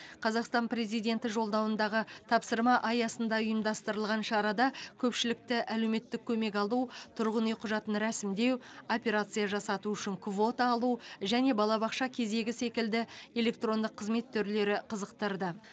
қазақстан президенті жолдауындағы тапсырма аясында ұйымдастырылған шарада көпшілікті әлеуметтік көмек алу тұрғын үй құжатын рәсімдеу операция жасату үшін квота алу және балабақша кезегі секілді электронды қызмет түрлері қызықтырды